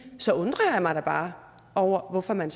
så undrer jeg mig bare over hvorfor man